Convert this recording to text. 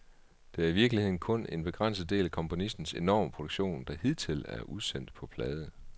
Det er i virkeligheden kun en begrænset del af komponistens enorme produktion, der hidtil er udsendt på plade.